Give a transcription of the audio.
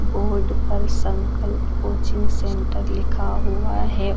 Board पर Sankalp coaching centre लिखा हुआ है।